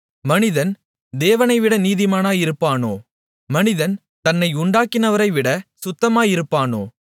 மனிதன் தேவனைவிட நீதிமானாயிருப்பானோ மனிதன் தன்னை உண்டாக்கினவரைவிட சுத்தமாயிருப்பானோ